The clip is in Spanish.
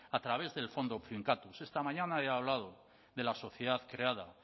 a través del fondo finkatuz esta mañana he hablado de la sociedad creada